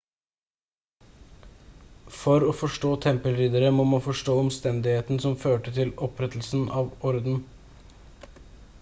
for å forstå tempelridderne må man forstå omstendigheten som førte til opprettelsen av ordren